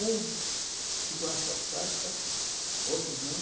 Uns ficam afastados, sabe? Outros não.